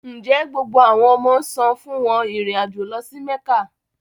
Nje gbogbo awọn ọmọ san fun wọn irin ajo lọ si Mekka?